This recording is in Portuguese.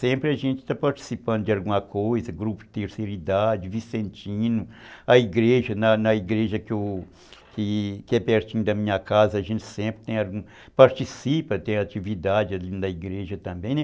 Sempre a gente está participando de alguma coisa, grupo de terceira idade, Vicentino, a igreja, na na igreja que é pertinho da minha casa, a gente sempre participa, tem atividade ali na igreja também.